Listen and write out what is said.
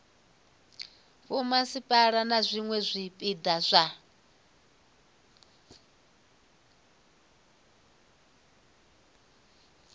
vhomasipala na zwiwe zwipia zwa